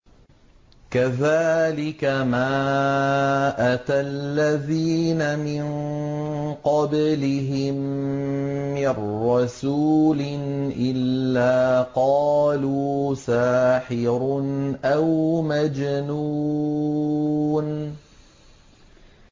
كَذَٰلِكَ مَا أَتَى الَّذِينَ مِن قَبْلِهِم مِّن رَّسُولٍ إِلَّا قَالُوا سَاحِرٌ أَوْ مَجْنُونٌ